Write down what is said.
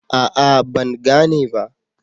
A'a, Ban gane ba